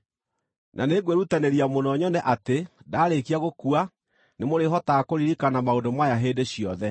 Na nĩngwĩrutanĩria mũno nyone atĩ ndaarĩkia gũkua nĩmũrĩhotaga kũririkana maũndũ maya hĩndĩ ciothe.